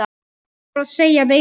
Hvað þarf að segja meira?